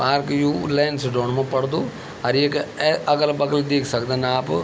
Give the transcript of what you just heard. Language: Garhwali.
पार्क यु लेंसडॉन मा पडदू अर एका ए अगल-बगल देख सकदन आप --